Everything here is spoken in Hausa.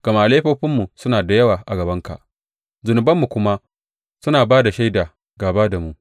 Gama laifofinmu suna da yawa a gabanka, zunubanmu kuma suna ba da shaida gāba da mu.